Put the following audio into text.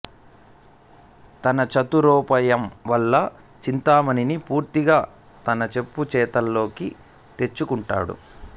తన చతురోపాయం వల్ల చింతామణిని పూర్తిగా తన చెప్పుచేతల్లోకి తెచ్చుకుంటాడు